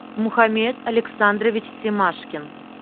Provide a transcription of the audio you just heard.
мухаммед александрович семашкин